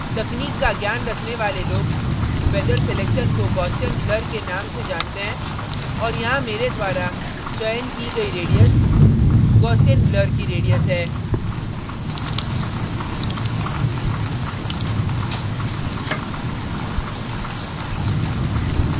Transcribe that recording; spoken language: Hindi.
तकनीक का ज्ञान रखने वाले लोग feather selection को gaussian blur के नाम से जानते हैं और यहाँ मेरे द्वारा चयन की गई radius gaussian blur की radius है